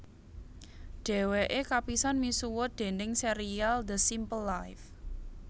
Dhèwèké kapisan misuwut déning sérial The Simple Life